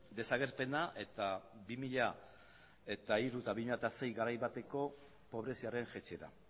desagerpena eta bi mila hiru eta bi mila sei garai bateko pobreziaren jaitsiera